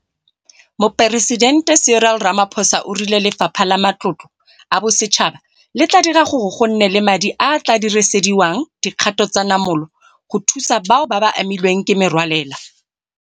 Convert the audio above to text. Moporesidente Cyril Ramaphosa o rile Lefapha la Matlotlo a Bosetšhaba le tla dira gore go nne le madi a a tla dirisediwang dikgato tsa namolo go thusa bao ba amilweng ke merwalela.